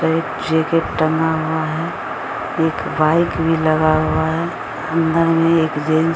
एक जैकेट टांगा हुआ है एक बाइक भी लगा हुआ है अंदर मे एक जेन्स --